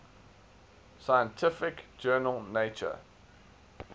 scientific journal nature